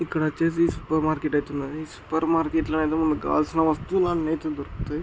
ఇక్కడ వచ్చేసి super market అయితే ఉన్నది సూపర్ మార్కెట్ లో ఏదో మీకు కావల్సిన వస్తువులు అని అయితే దొరుకుతాయి